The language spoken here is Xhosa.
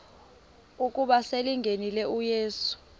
ukuba selengenile uyesu